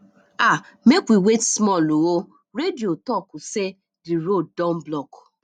um make we wait small o radio talk sey di road don block